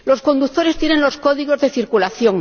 Los conductores tienen los códigos de circulación.